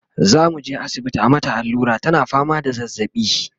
zamuje asibiti a mata allura tana fama da zazzaɓi